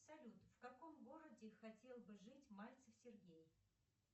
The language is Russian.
салют в каком городе хотел бы жить мальцев сергей